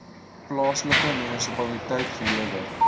plaaslike munisipaliteit gelewer